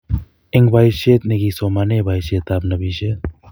eng boishet negisomaneeboishetab nobishet